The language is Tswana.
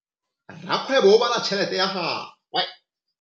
Rakgwêbô o bala tšheletê ya gagwe.